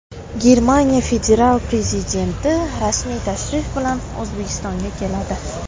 Germaniya federal prezidenti rasmiy tashrif bilan O‘zbekistonga keladi.